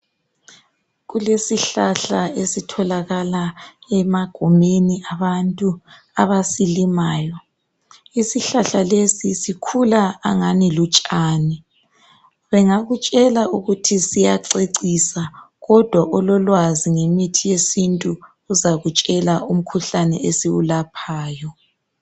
Kulesihlahla esitholakala emagumeni abantu abasilimayo. Isihlahla lesi sikhula angani lutshani, bangakutshela ukuthi siyacecisa kodwa ololwazi ngemithi yesintu uzakutshela umkhuhlane esiwulaphayo.